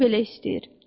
Kefim belə istəyir.